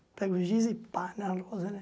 Pega o giz e pá, na lousa, né?